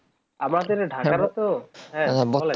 আমাদের ঢাকার ও তো হ্যাঁ বলেন